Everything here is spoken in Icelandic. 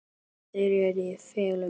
En þeir eru í felum!